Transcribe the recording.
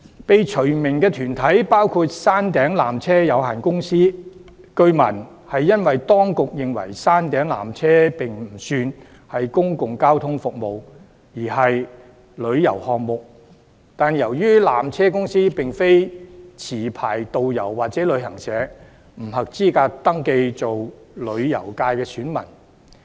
被除名的團體包括山頂纜車有限公司，據聞是因為當局認為山頂纜車不算是公共交通服務，而是旅遊項目，但由於纜車公司並非持牌導遊或旅行社，故此不合資格登記為旅遊界選民。